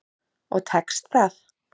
Og tekst það.